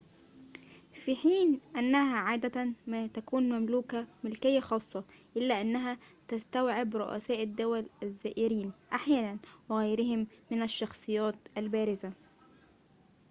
في حين أنها عادة ما تكون مملوكة ملكية خاصة ، إلا أنها تستوعب رؤساء الدول الزائرين أحياناً وغيرهم من الشخصيات البارزة